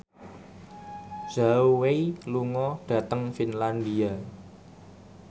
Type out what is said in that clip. Zhao Wei lunga dhateng Finlandia